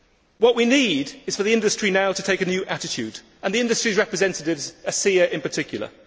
What we need is for the industry now to take a new attitude, and the industry's representatives ACEA in particular.